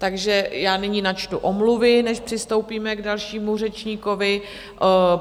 Takže já nyní načtu omluvy, než přistoupíme k dalšímu řečníkovi.